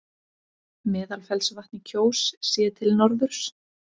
Meðalfellsvatn í Kjós, séð til norðurs.